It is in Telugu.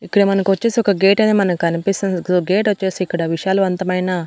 ఇక్కడ మనకొచ్చేసి ఒక గేట్ అనేది మనకనిపిస్తుంది సో గేటొచ్చేసి ఇక్కడ విశాలవంతమైన--